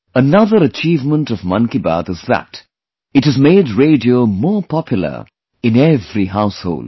Another achievement of 'Mann Ki Baat' is that it has made radio more popular in every household